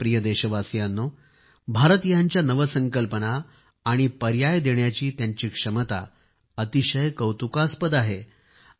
माझ्या प्रिय देशवासियांनो भारतीयांच्या नवसंकल्पना आणि पर्याय देण्याची क्षमता अतिशय कौतुकास्पद आहे